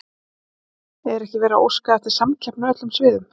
Er ekki verið að óska eftir samkeppni á öllum sviðum?